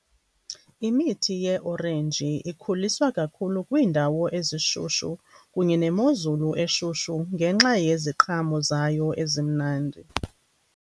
Imithi ye-orenji ikhuliswa kakhulu kwiindawo ezishushu kunye nemozulu eshushu ngenxa yeziqhamo zayo ezimnandi.